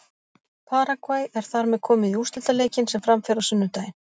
Paragvæ er þar með komið í úrslitaleikinn sem fram fer á sunnudaginn.